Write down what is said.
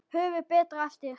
Höfðu Bretar eftir